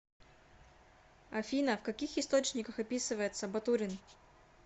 афина в каких источниках описывается батурин